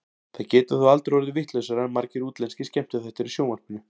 Það getur þó aldrei orðið vitlausara en margir útlenskir skemmtiþættir í sjónvarpinu.